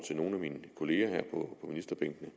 nogle af mine kolleger her på ministerbænkene